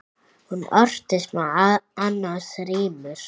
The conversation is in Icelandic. Hún orti meðal annars rímur.